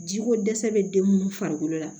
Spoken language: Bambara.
Ji ko dɛsɛ bɛ den minnu farikolo la